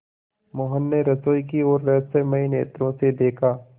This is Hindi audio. मोहन ने रसोई की ओर रहस्यमय नेत्रों से देखा